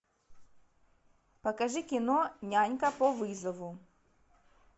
покажи кино нянька по вызову